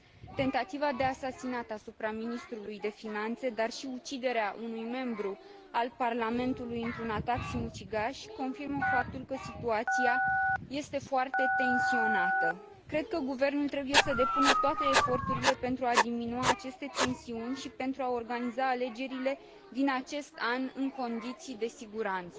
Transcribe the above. Tentativa de asasinat asupra ministrului de finanțe, dar și uciderea unui membru al Parlamentului într un atac sinucigaș confirmă faptul că situația este foarte tensionată. Cred că Guvernul trebuie să depună toate eforturile pentru a diminua aceste tensiuni și pentru a organiza alegerile din acest an în condiții de siguranță.